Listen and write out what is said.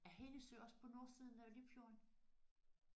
Er Helligsø også på nordsiden af Limfjorden?